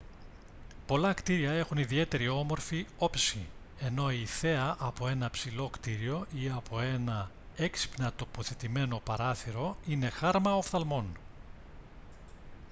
πολλά κτίρια έχουν ιδιαίτερα όμορφη όψη ενώ η θέα από ένα ψηλό κτίριο ή από ένα έξυπνα τοποθετημένο παράθυρο είναι χάρμα οφθαλμών